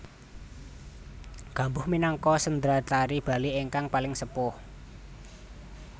Gambuh minangka sendratari Bali ingkang paling sepuh